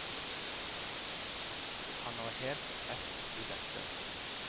Han har helt rett i dette.